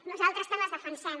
nosaltres també els defensem